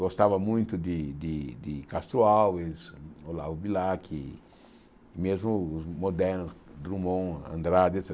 Gostava muito de de de Castro Alves, Olavo Bilac, mesmo os modernos Drummond, Andrade, et